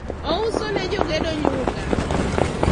ouso ne jogedo nyuka